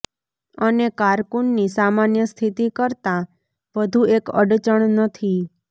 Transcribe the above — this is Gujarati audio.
અને કારકુન ની સામાન્ય સ્થિતિ કરતાં વધુ એક અડચણ નથી